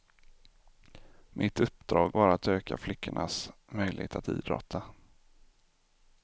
Mitt uppdrag var att öka flickornas möjlighet att idrotta.